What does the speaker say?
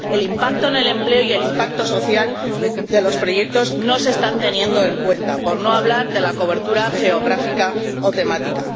El impacto en el empleo y el impacto social de los proyectos no se están teniendo en cuenta, por no hablar de la cobertura geográfica o temática.